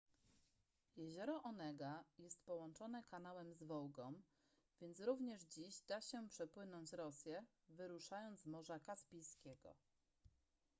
jezioro onega jest połączone kanałem z wołgą więc również dziś da się przepłynąć rosję wyruszając z morza kaspijskiego